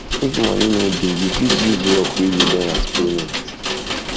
if money no dey you fit use work wey you learn as payment